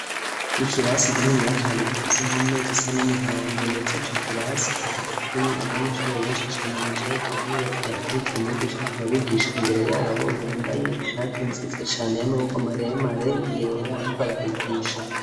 Ikirasi kininiya cane gifise impome zisa n'umuhondo ndetse ico kirasi kikaba kirimo abanyeshure benshi cane bicaye ku ntebe bariko barakurikira umwigisha ariko arabigisha imbere yabo ,yambaye ishati nziza cane y'amaboko maremare yera ariko arabigisha.